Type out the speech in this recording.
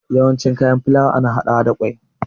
Yawanci kayan filawa ana haɗawa da ƙwai